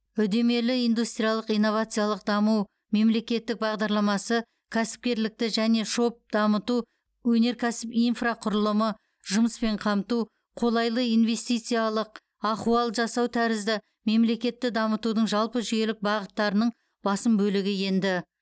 үдемелі индустриялық инновациялық даму мемлекеттік бағдарламасы кәсіпкерлікті және шоб дамыту өнеркәсіп инфрақұрылымы жұмыспен қамту қолайлы инвестициялық ахуал жасау тәрізді мемлекетті дамытудың жалпы жүйелік бағыттарының басым бөлігі енді